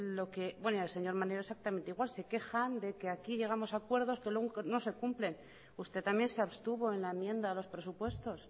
señor maneiro exactamente igual se quejan de que aquí llegamos a acuerdos pero luego no se cumplen usted también se abstuvo en la enmienda a los prosupuestos